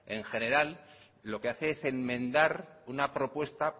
en general lo que hace es enmendar una propuesta